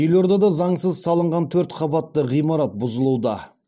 елордада заңсыз салынған төрт қабатты ғимарат бұзылуда